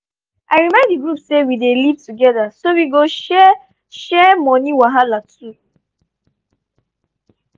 i remind di group say wey we dey live together we go share share money wahala too.